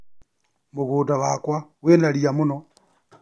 Mũgũnda wakwa wĩna ria mũno.